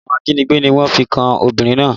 Ẹ̀sùn ajínigbé ni wọ́n fi kan obìnrin náà